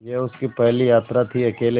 यह उसकी पहली यात्रा थीअकेले